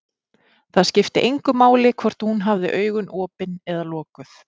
Það skipti engu máli hvort hún hafði augun opin eða lokuð.